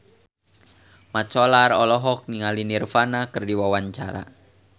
Mat Solar olohok ningali Nirvana keur diwawancara